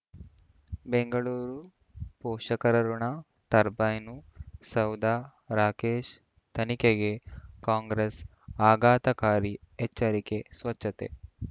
ಬೆಂಗಳೂರು ಪೋಷಕರಋಣ ಟರ್ಬೈನು ಸೌಧ ರಾಕೇಶ್ ತನಿಖೆಗೆ ಕಾಂಗ್ರೆಸ್ ಆಘಾತಕಾರಿ ಎಚ್ಚರಿಕೆ ಸ್ವಚ್ಛತೆ